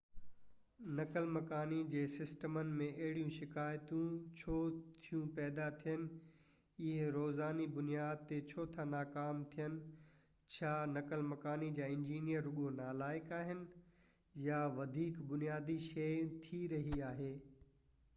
نقل مڪاني جي سسٽمن ۾ اهڙيون شڪايتون ڇو ٿيون پيدا ٿين اهي روزاني بنياد تي ڇو ٿا ناڪام ٿين ڇا نقل مقاني جا انجينئر رڳو نالائق آھن يا ڪا وڌيڪ بنيادي شيءِ ٿي رهي آهي